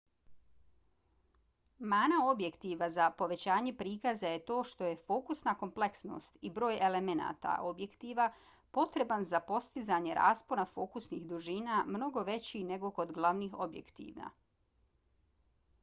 mana objektiva za povećanje prikaza je to što je fokusna kompleksnost i broj elemenata objektiva potreban za postizanje raspona fokusnih dužina mnogo veći nego kod glavnih objektiva